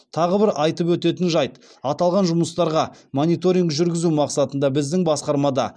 тағы бір айтып өтетін жайт аталған жұмыстарға мониторинг жүргізу мақсатында біздің басқармада